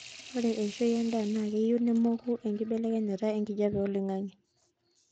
ore eishoi endaa naa keyieu nemoku nkibelekenyat enkijape oloingangi